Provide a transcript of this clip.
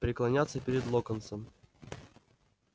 преклоняться перед локонсом